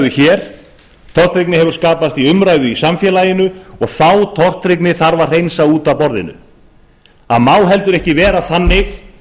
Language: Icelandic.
hér tortryggni hefur skapast í umræðu í samfélaginu og þá tortryggni þarf að hreinsa út af borðinu það má heldur ekki vera þannig